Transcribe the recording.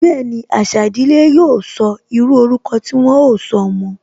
Bẹẹni, àṣà ìdílé yóò sọ, írú ọrúkọ tí wọn ó sọ ọmọ